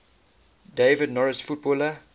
david norris footballer